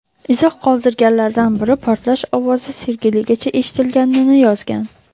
Izoh qoldirganlardan biri portlash ovozi Sergeligacha eshitilganini yozgan.